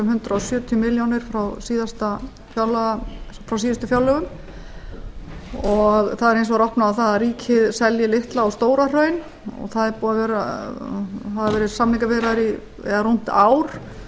hundrað sjötíu milljónir frá síðustu fjárlögum það er hins vegar opnað á það að ríkið selji litla og stóra hraun og það hafa verið samningaviðræður í rúmt ár